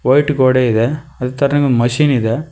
white ಗೋಡೆ ಇದೆ ಅದೇ ತರ ಒಂದು ಮಿಷನ್ ಇದೆ